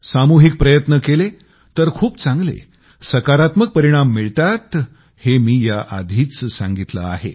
सामूहिक प्रयत्न केले तर खूप चांगले सकारात्मक परिणाम मिळतात हे मी याआधीच सांगितलं आहे